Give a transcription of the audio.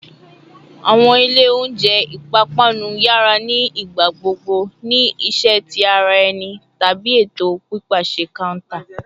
Awọn ilẹ ounjẹ ipapanu yara ni igbagbogbo ni iṣẹ ti ara ẹni tabi eto pipaṣẹ counter